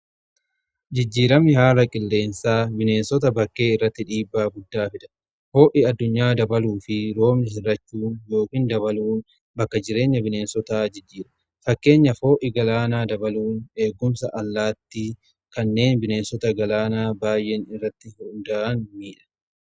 jijjiiramni haala qilleensaa bineensota bakkee irratti dhiibbaa guddaa fida. ho'i addunyaa dabaluu fi roobni hir'achuun yookin dabaluun bakka-jireenya bineensotaa jijjiira. fakkeenya ho'i galaanaa dabaluun eegumsa allaattii kanneen jireenya galaanaa irratti hunda'an miidha.